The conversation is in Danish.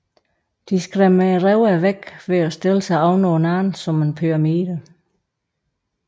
De skræmmer røverne væk ved at stille sig ovenpå hinanden som en pyramide